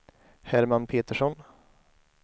Herman Petersson